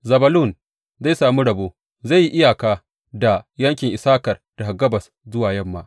Zebulun zai sami rabo; zai yi iyaka da yankin Issakar daga gabas zuwa yamma.